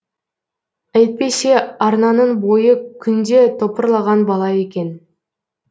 әйтпесе арнаның бойы күнде топырлаған бала екен